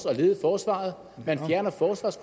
at lede forsvaret